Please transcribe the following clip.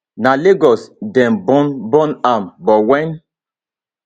na lagos dem born born am but wen